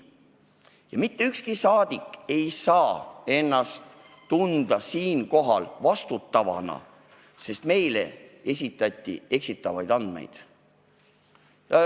Ja mitte ükski rahvasaadik ei saa tunda end siinkohal vastutavana, sest meile esitati eksitavaid andmeid.